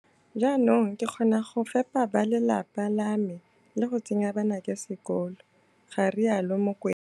Jaanong ke kgona go fepa bale lapa la me le go tsenya banake sekolo, ga rialo Mokoena.